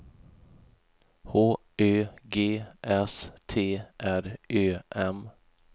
H Ö G S T R Ö M